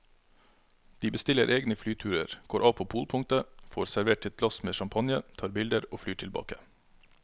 De bestiller egne flyturer, går av på polpunktet, får servert et glass med champagne, tar bilder og flyr tilbake.